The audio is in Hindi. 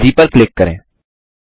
ईजी पर क्लिक करें